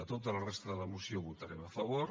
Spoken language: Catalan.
a tota la resta de la moció hi votarem a favor